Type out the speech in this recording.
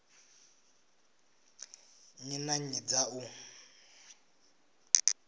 nnyi na nnyi dza u